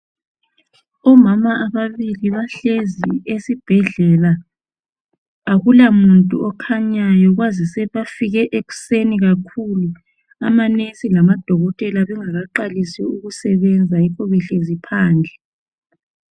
Omama ababili bahlezi esibhedlela akulamuntu okhanyayo kwazise bafike ekuseni kakhulu amanesi lamadokotela bengakaqalisi ukusebenza yikho behlezi phandle.